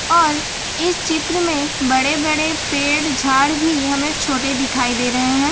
और इस चित्र में बड़े बड़े पेड़ झाड़ भी हमें छोटे दिखाई दे रहे हैं।